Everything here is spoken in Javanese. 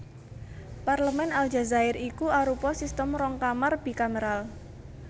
Parlemèn Aljazair iku arupa sistem rong kamar bikameral